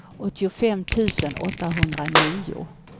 åttiofem tusen åttahundranio